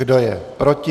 Kdo je proti?